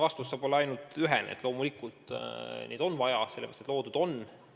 Vastus saab olla ainult üks: loomulikult neid on vaja, sellepärast nad loodud on.